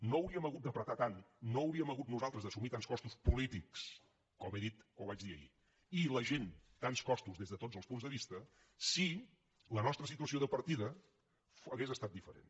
no hauríem hagut d’ apretar tant no hauríem hagut nosaltres d’assumir tants costos polítics com he dit o vaig dir ahir i la gent tants costos des de tots els punts de vista si la nostra situació de partida hagués estat diferent